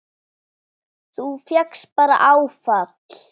Þú fékkst bara áfall!